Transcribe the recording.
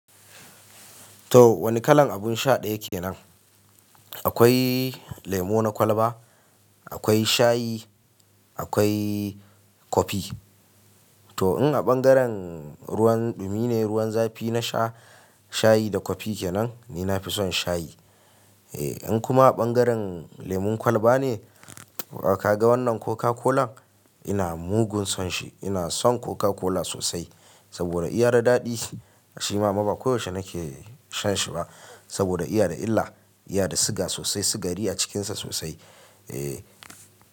To wani kalan abun sha ɗaya ke nan. Akwai lemo na kwalba, akwai shayi, akwai kofi. To in a ɓangaren ruwan ɗumi ne, ruwan zafi na sha shayi da kofi kenan, ni nafi son shayi. Eh in kuma a ɓangaren lemon kwalba ne, wa ka ga wannan Coca-Cola? Ina mugun son shi. Ina son Coca-Cola sosai saboda iya da daɗi. Shi ma ba koyaushe nake shan shi ba saboda iya da illa, iya da siga sosai, sigari a cikin sa sosai. Eh.